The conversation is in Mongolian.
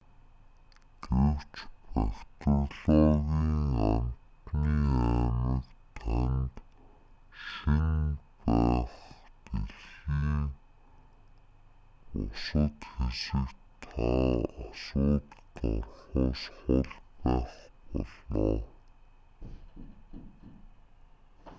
гэвч бактериологийн амьтны аймаг танд шинэ байх дэлхийн бусад хэсэгт та асуудалд орохоос хол байх болно